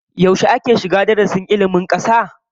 Yaushe ake shiga darasin ilmin kasa?